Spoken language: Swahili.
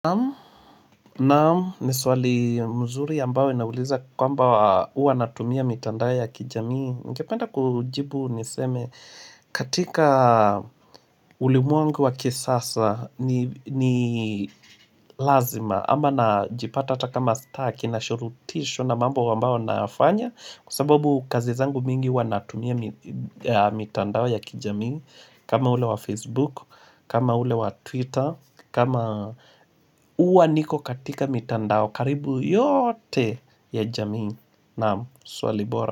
Naam, ni swali mzuri ambao inauliza kwamba uanatumia mitandao ya kijamii Ningependa kujibu niseme katika ulimwengu wa kisasa ni lazima ama na jipata atakama staki nashurutishwa na mambo nafanya kazi zangu mingi hua natumia mitandao ya kijamii kama ule wa Facebook, kama ule wa Twitter kama uwa niko katika mitandao karibu yote ya jamii Namu swali bora.